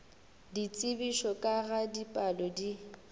ditsebišo ka ga dipalo di